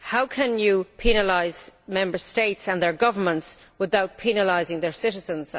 How can you penalise Member States and their governments without penalising their citizens?